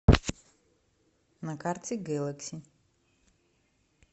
на карте гэлэкси